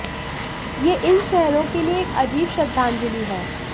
यह इन शहरों के लिए एक अजीब श्रद्धांजलि है